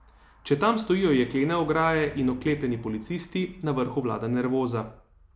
Če tam stojijo jeklene ograje in oklepljeni policisti, na vrhu vlada nervoza.